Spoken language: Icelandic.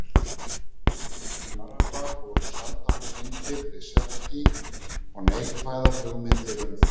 arabar voru sjaldan tengdir við serki og neikvæðar hugmyndir um þá